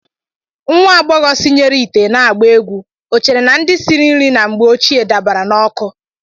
Nwa agbọghọ sinyere ite n'agba egwu o chere na ndị siri nri na mgbé ochie dabara n'ọkụ